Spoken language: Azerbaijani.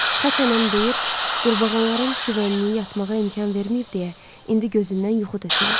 Xaçanam deyir, qurbağaların şivənliyi yatmağa imkan verməyib deyə, indi gözündən yuxu tökülür.